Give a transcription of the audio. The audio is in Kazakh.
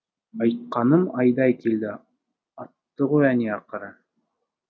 айтқаным айдай келді атты ғой әне ақыры